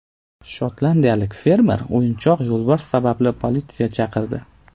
Shotlandiyalik fermer o‘yinchoq yo‘lbars sababli politsiya chaqirdi.